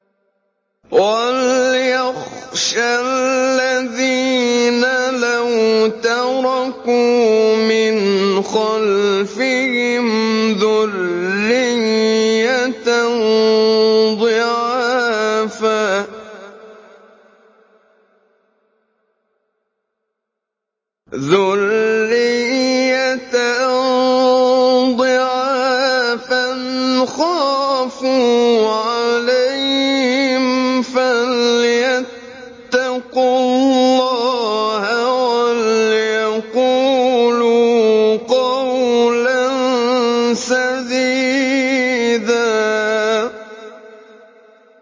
وَلْيَخْشَ الَّذِينَ لَوْ تَرَكُوا مِنْ خَلْفِهِمْ ذُرِّيَّةً ضِعَافًا خَافُوا عَلَيْهِمْ فَلْيَتَّقُوا اللَّهَ وَلْيَقُولُوا قَوْلًا سَدِيدًا